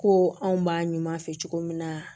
Ko anw b'a ɲuman fɛ cogo min na